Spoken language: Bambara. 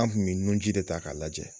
An kun bɛ nunji de ta k'a lajɛ.